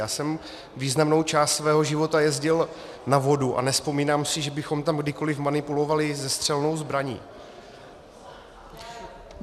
Já jsem významnou část svého života jezdil na vodu a nevzpomínám si, že bychom tam kdykoliv manipulovali se střelnou zbraní.